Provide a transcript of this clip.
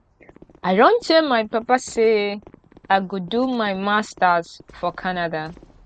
i don tell my papa say i go do my masters for canada